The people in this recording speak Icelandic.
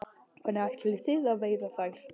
Hvernig ætlið þið að veiða þær?